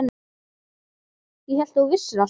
Ég hélt að þú vissir allt.